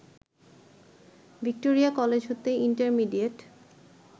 Victoria college হতে intermediate